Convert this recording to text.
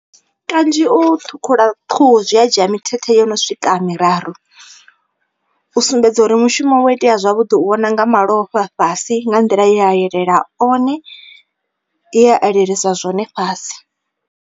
Kanzhi u ṱhukhula khuhu zwi a dzhia mithethe yono swika miraru. U sumbedza uri mushumo wa itea zwavhuḓi u vhona nga malofha fhasi nga nḓila e a elela one ye a elelisa zwone fhasi.